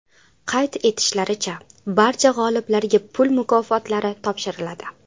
Qayd etishlaricha, barcha g‘oliblarga pul mukofotlari topshiriladi.